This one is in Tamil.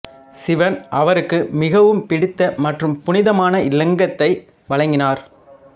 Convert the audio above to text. சிவன் அவருக்கு மிகவும் பிடித்த மற்றும் புனிதமான இலிங்கத்தை வழங்கினார்